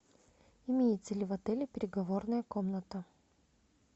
имеется ли в отеле переговорная комната